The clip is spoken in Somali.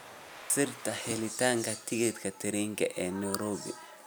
sirta helitaanka tigidhka tareenka ee nairobi